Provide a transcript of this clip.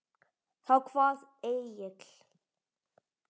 Þá kvað Egill